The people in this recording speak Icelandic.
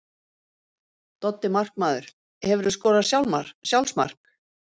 Doddi markmaður Hefurðu skorað sjálfsmark?